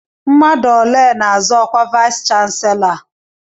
Mmadụ ole n'azọ ọkwa vayis chansilọ a?